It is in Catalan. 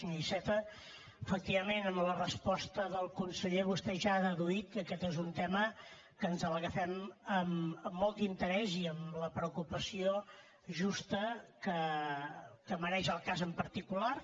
senyor iceta efectivament amb la resposta del conseller vostè ja ha deduït que aquest és un tema que ens l’agafem amb molt d’interès i amb la preocupació justa que mereix el cas en particular